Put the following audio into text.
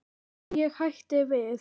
En ég hætti við.